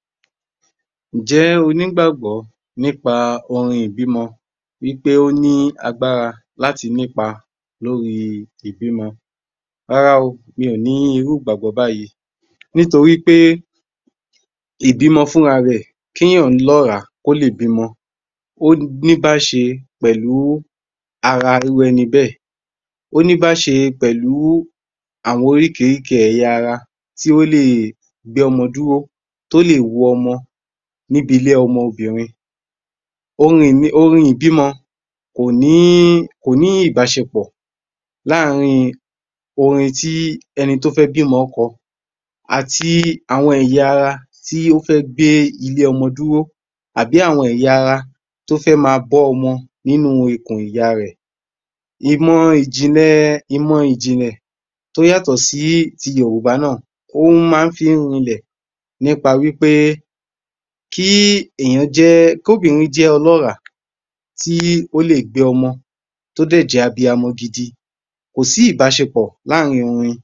Number 32 AG00897 Ǹjẹ́oní gbàgbọ́ nípa ohun ìbímọ wípé óní agbára láti nípa lórí ìbímọ? Rárá o mi ò ní irú ìgbàgbọ́ báyìí nítorípé ìbímọ fún ra rẹ̀ kí èyàn lọ́ràá kólè bímọ óní bíbáṣe pẹ̀lú ara irú ẹni bẹ́ẹ̀ óní bíbáṣe pẹ̀lú àwọn oríkìríkìí ẹ̀yà ara tí ó le gbé ọmọ dúró tó ólè wó ọmọ níbi ilé ọmọbìrin orin ìbímọ kòní ìbáșepọ̀ láàrín ẹni tóbá fẹ́ bímọ ńkọ àti àwọn ẹ̀yà ara tí ó fẹ́ gbé ilé ọmọ dúró àbí àwọn ẹ̀yà ara tó fẹ́ máa bọ́ ọmọ nínú ikù ìyá rẹ̀ ìmọ ìjìlẹ̀, ìmọ̀ ìjìlè tóyàtọ̀ síti yorùbá náà óhún máa fí ń rilẹ̀ nípa wípẹ́ kí èyàn jẹ́ kó bìrin jẹ́ ọlọ́ràá tí ólè gbé ọmọ tósì jẹ́ abiamọ gidi kòsí ìbáșepọ̀ láàrín orin